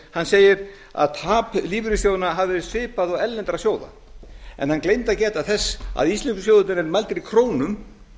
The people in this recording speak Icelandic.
hann segir að tap lífeyrissjóðanna hafi verið svipað og erlendra sjóða en hann gleymdi að geta þess að íslensku sjóðirnir eru mældir í krónum